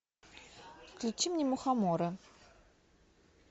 включи мне мухомора